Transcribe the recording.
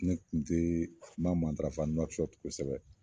Ne kun tee kuma matarafa nuakusɔti kosɛbɛ